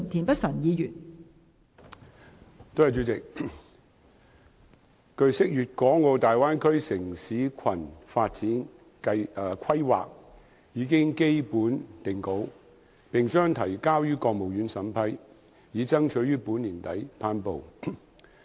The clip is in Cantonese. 代理主席，據悉，《粵港澳大灣區城市群發展規劃》已基本定稿，並將提交予國務院審批，以爭取於本年底頒布。